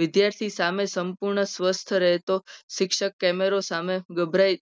વિદ્યાર્થી સામે સંપૂર્ણ સ્વસ્થ રહેતો. શિક્ષક કેમેરો સામે ગભરાઈ